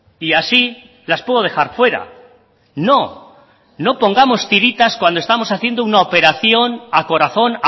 y así las puedo dejar fuera no no pongamos tiritas cuando estamos haciendo una operación a corazón